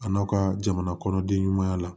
A n'aw ka jamana kɔnɔ den ɲumanya la